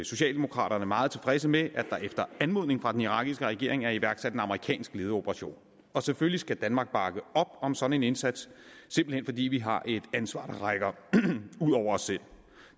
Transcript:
socialdemokraterne meget tilfredse med at der efter anmodning fra den irakiske regering er iværksat en amerikansk ledet operation selvfølgelig skal danmark bakke op om sådan en indsats simpelt hen fordi vi har et ansvar der rækker ud over os selv